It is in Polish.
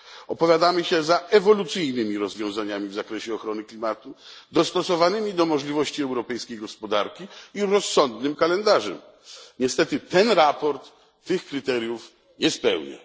Opowiadamy się za ewolucyjnymi rozwiązaniami w zakresie ochrony klimatu, dostosowanymi do możliwości europejskiej gospodarki, i rozsądnym kalendarzem. Niestety to sprawozdanie tych kryteriów nie spełnia.